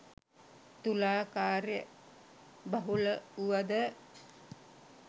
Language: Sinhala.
තුලා කාර්යබහුල වුවද